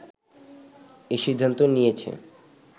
এ সিদ্ধান্ত নিয়েছে